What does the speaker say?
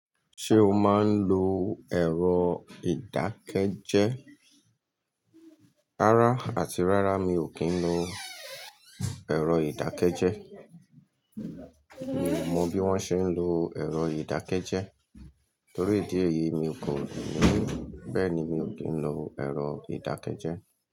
Ṣé o máa ń lo ẹ̀rọ ìdákẹ́jẹ́? Rárá àti rárá mi ò kí ń lo ẹ̀rọ ìdákẹ́jẹ́. Mi ò mọ bí wón ṣe ń lo ẹ̀rọ ìdákẹ́jẹ́ torí ìdí èyí mi kò lo rí. Bẹ́ẹ̀ni mi ò kí ń lo ẹ̀rọ ìdákẹ́jẹ́.